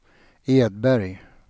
Edberg